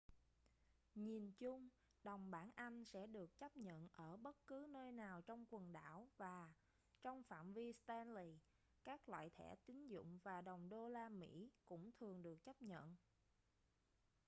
nhìn chung đồng bảng anh sẽ được chấp nhận ở bất cứ nơi nào trong quần đảo và trong phạm vi stanley các loại thẻ tín dụng và đồng đô-la mỹ cũng thường được chấp nhận